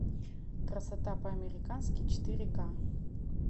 красота по американски четыре ка